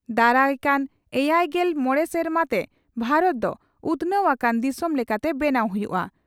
ᱫᱟᱨᱟ ᱠᱟᱱ ᱮᱭᱟᱭᱜᱮᱞ ᱢᱚᱲᱮ ᱥᱮᱨᱢᱟ ᱛᱮ ᱵᱷᱟᱨᱚᱛ ᱫᱚ ᱩᱛᱷᱱᱟᱹᱣ ᱟᱠᱟᱱ ᱫᱤᱥᱚᱢ ᱞᱮᱠᱟᱛᱮ ᱵᱮᱱᱟᱣ ᱦᱩᱭᱩᱜᱼᱟ ᱾